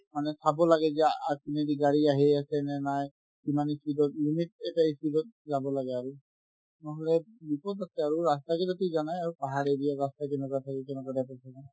মানে চাব লাগে যে আ~ আগপিনে গাড়ী আহি আছে নে নাই কিমান ই speed ত limit এটা ই speed ত যাব লাগে আৰু নহ'লে বিপদ আছে আৰু ৰাস্তাবিলাকতো জানাই আৰু পাহাৰ area ৰ ৰাস্তা কেনেকুৱা থাকে কেনেকুৱা type ৰ থাকে